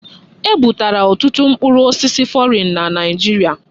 Ebubatara ọtụtụ mkpụrụ osisi fọrịn na Naịjirịa.